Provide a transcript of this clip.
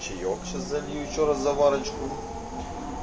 чаек сейчас залью ещё раз заварочку